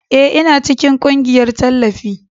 Ee, Ina cikin ƙungiyar tallafi.